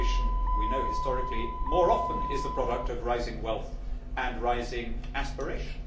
Emigration, we know historically, more often is the product of rising wealth and rising aspiration.